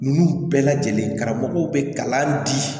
Ninnu bɛɛ lajɛlen karamɔgɔw bɛ kalan di